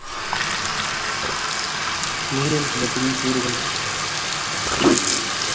நீரியல் சுழற்சியின் கூறுகள்